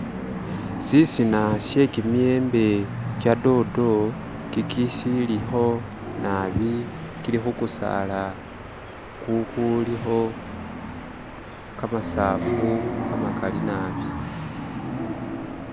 Sisina sye kimiyembe kya dodo kiki silikho nabi kili khu kusala kukulikho kamasafu kamakali nabi.